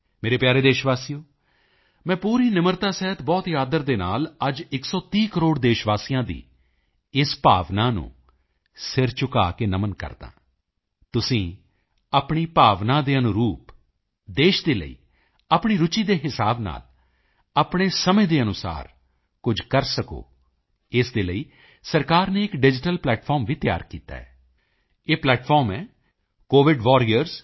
ਮੇਰੇ ਪਿਆਰੇ ਦੇਸ਼ਵਾਸੀਓ ਮੈਂ ਪੂਰੀ ਨਿਮਰਤਾ ਸਹਿਤ ਬਹੁਤ ਹੀ ਆਦਰ ਦੇ ਨਾਲ ਅੱਜ 130 ਕਰੋੜ ਦੇਸ਼ਵਾਸੀਆਂ ਦੀ ਇਸ ਭਾਵਨਾ ਨੂੰ ਸਿਰ ਝੁਕਾਅ ਕੇ ਨਮਨ ਕਰਦਾ ਹਾਂ ਤੁਸੀਂ ਆਪਣੀ ਭਾਵਨਾ ਦੇ ਅਨੁਰੂਪ ਦੇਸ਼ ਦੇ ਲਈ ਆਪਣੀ ਰੁਚੀ ਦੇ ਹਿਸਾਬ ਨਾਲ ਆਪਣੇ ਸਮੇਂ ਦੇ ਅਨੁਸਾਰ ਕੁਝ ਕਰ ਸਕੋ ਇਸ ਦੇ ਲਈ ਸਰਕਾਰ ਨੇ ਇੱਕ ਡਿਜੀਟਲ ਪਲੈਟਫਾਰਮ ਵੀ ਤਿਆਰ ਕੀਤਾ ਹੈ ਇਹ ਪਲੈਟਫਾਰਮ ਹੈ covidwarriors